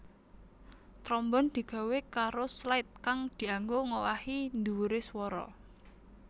Trombon digawé karo slide kang dianggo ngowahi dhuwure swara